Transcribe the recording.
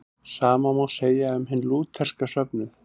Sama má segja um hinn lútherska söfnuð.